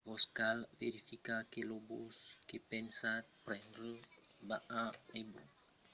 vos cal verificar que lo bus que pensatz prendre va a hebron e pas sonque a la colonia jusieva vesina de kiryat arba